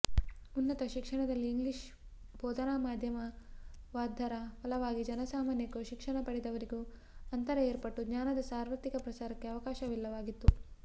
ಉನ್ನತ ಶಿಕ್ಷಣದಲ್ಲಿ ಇಂಗ್ಲಿಷ್ ಬೋಧನಮಾಧ್ಯಮವಾದ್ದರ ಫಲವಾಗಿ ಜನಸಾಮಾನ್ಯಕ್ಕೂ ಶಿಕ್ಷಣಪಡೆದವರಿಗೂ ಅಂತರ ಏರ್ಪಟ್ಟು ಜ್ಞಾನದ ಸಾರ್ವತ್ರಿಕ ಪ್ರಸಾರಕ್ಕೆ ಅವಕಾಶವಿಲ್ಲವಾಗಿತ್ತು